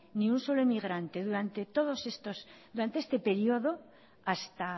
ni un solo inmigrante durante este periodo hasta